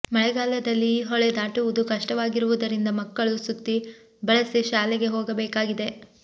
ಮಳೆಗಾಲದಲ್ಲಿ ಈ ಹೊಳೆ ದಾಟುವುದು ಕಷ್ಟವಾಗಿರುವುದರಿಂದ ಮಕ್ಕಳು ಸುತ್ತಿ ಬಳಸಿ ಶಾಲೆಗೆ ಹೋಗಬೇಕಾಗಿದೆ